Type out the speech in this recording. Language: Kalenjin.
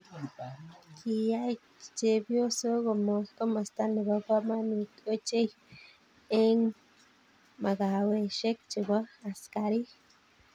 Kiyay chepyosoo komosta ne bo komonut ochei eng makaweshe che bo askariik.